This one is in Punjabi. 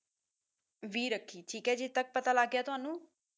ਵੀ ਰੱਖੀ ਠੀਕ ਹੈ ਜੀ ਇੱਥੇ ਤੱਕ ਪਤਾ ਲੱਗ ਗਿਆ ਤੁਹਾਨੂੰ